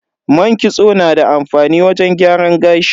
Man kitso na da amfani wajen gyaran gashi.